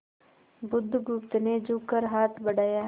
बुधगुप्त ने झुककर हाथ बढ़ाया